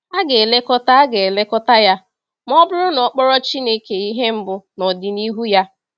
A ga-elekọta A ga-elekọta ya ma ọ bụrụ na ọ kpọrọ Chineke ihe mbụ n’ọdịnihu ya.